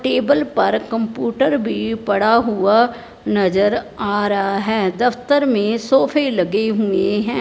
Table पर computer भी पड़ा हुआ नजर आ रहा हैं दफ्तर में लगे हुएं हैं।